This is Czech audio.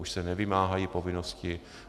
Už se nevymáhají povinnosti.